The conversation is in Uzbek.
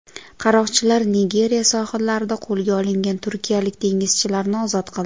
Qaroqchilar Nigeriya sohillarida qo‘lga olingan turkiyalik dengizchilarni ozod qildi.